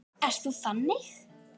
Ert þú þannig?